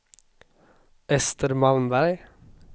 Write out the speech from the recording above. Ester Malmberg